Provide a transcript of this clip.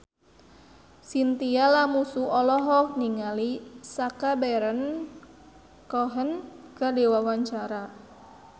Chintya Lamusu olohok ningali Sacha Baron Cohen keur diwawancara